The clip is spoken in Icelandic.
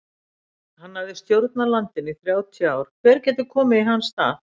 Hann hafði stjórnað landinu í þrjátíu ár, hver getur komið í hans stað?